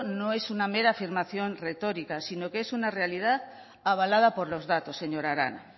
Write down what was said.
no es una mera afirmación retórica sino que es una realidad avalada por los datos señora arana